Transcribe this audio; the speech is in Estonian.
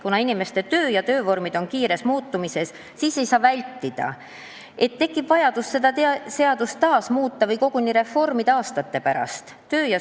Kuna töö ja töövormid on kiires muutumises, siis ei saa vältida, et tekib vajadus seda seadust taas muuta või aastate pärast koguni reformida.